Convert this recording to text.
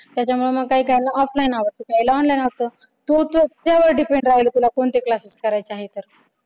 त्याच्यामुळे मग काय काय ना offline आवडत तर काहींना online आवडत पुढच तुझ्यावर depend राहील की तुला कोणते classes करायचे आहेत तर